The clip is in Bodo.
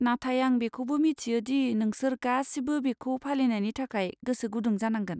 नाथाय आं बेखौबो मिथियो दि नोंसोर गासिबो बेखौ फालिनायनि थाखाय गोसो गुदुं जानांगोन।